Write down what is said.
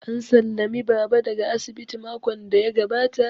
An sallami Baba daga asibiti makon da ya gabata